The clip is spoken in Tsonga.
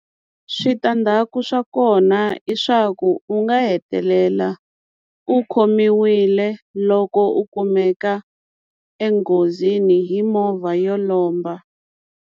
Switandzhaku swa kona i swa ku u nga hetelela u khomiwile loko u kumeka enghozini hi movha yo lomba.